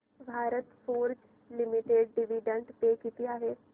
Bharat Forge Limited dividend pay किती आहे